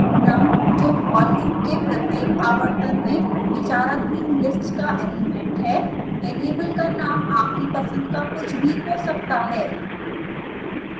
num जो for loop के प्रत्येक आवर्तन में विचाराधीन list का एलिमेंट है वेरिएबल का नाम आपकी पसंद का कुछ भी हो सकता है